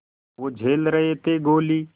वो झेल रहे थे गोली